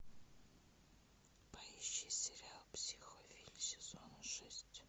поищи сериал психовилль сезон шесть